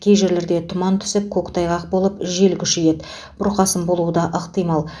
кей жерлерде тұман түсіп көктайғақ болып жел күшейеді бұрқасын болуы да ықтимал